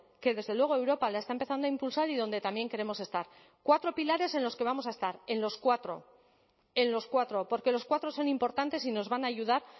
que desde luego europa la está empezando a impulsar y donde también queremos estar cuatro pilares en los que vamos a estar en los cuatro en los cuatro porque los cuatro son importantes y nos van a ayudar